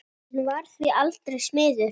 Hann varð því aldrei smiður.